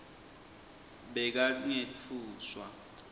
bekangetfuswa